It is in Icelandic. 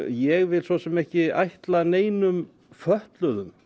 ég vil svo sem ekki ætla neinum fötluðum